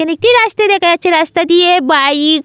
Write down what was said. এখানে একটি রাস্তা দেখা যাচ্ছে রাস্তাটিয়ে বাইক --